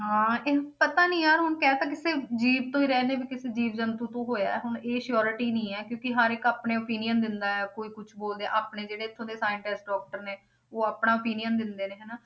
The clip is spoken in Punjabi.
ਹਾਂ ਇਹ ਪਤਾ ਨੀ ਯਾਰ ਹੁਣ ਕਹਿ ਤਾਂ ਕਿਸੇ ਜੀਵ ਤੋਂ ਹੀ ਰਹੇ ਨੇ ਵੀ ਕਿਸੇ ਜੀਵ ਜੰਤੂ ਤੋਂ ਹੋਇਆ, ਹੁਣ ਇਹ surety ਨਹੀਂ ਹੈ ਕਿਉਂਕਿ ਹਰ ਇੱਕ ਆਪਣੇ opinion ਦਿੰਦਾ ਹੈ ਕੋਈ ਕੁਛ ਬੋਲਦੇ ਹੈ ਆਪਣੇ ਜਿਹੜੇ ਇੱਥੋਂ ਦੇ scientist doctor ਨੇ ਉਹ ਆਪਣਾ opinion ਦਿੰਦੇ ਨੇ ਹਨਾ,